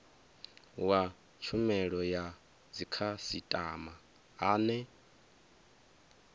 wa tshumelo ya dzikhasitama ane